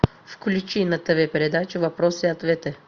включи на тв передачу вопросы и ответы